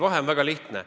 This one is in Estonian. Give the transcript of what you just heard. Vahe on väga lihtne.